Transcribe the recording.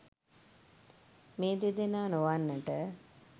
මේ දෙදෙනා නොවන්නට